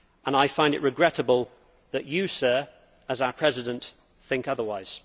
I find it regrettable that you, Sir, as our President, think otherwise.